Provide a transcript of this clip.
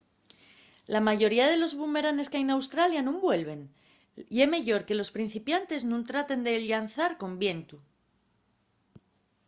la mayoría de los bumeranes qu’hai n’australia nun vuelven. ye meyor que los principantes nun traten de llanzar con vientu